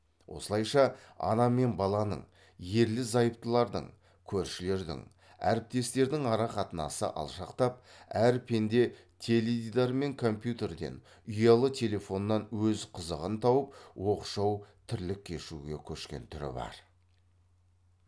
осылайша ана мен баланың ерлі зайыптылардың көршілердің әріптестердің ара қатынасы алшақтап әр пенде теледидар мен компьютерден ұялы телефоннан өз қызығын тауып оқшау тірлік кешуге көшкен түрі бар